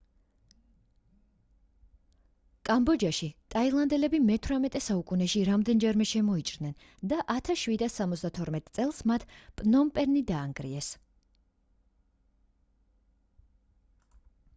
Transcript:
კამბოჯაში ტაილანდელები მე-18 საუკუნეში რამდენჯერმე შემოიჭრნენ და 1772 წელს მათ პნომპენი დაანგრიეს